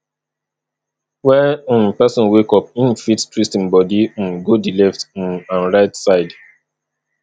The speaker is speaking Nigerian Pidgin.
when um person wake up im fit twist im body um go di left um and right side